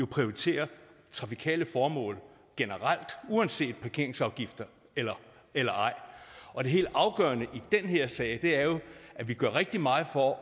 prioritere trafikale formål generelt uanset parkeringsafgifter eller eller ej og det helt afgørende i den her sag er jo at vi gør rigtig meget for